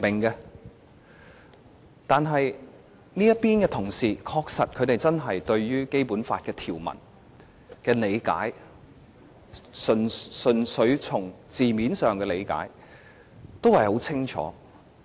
這邊的同事對於《基本法》條文，在字面上的理解，是十分清楚的。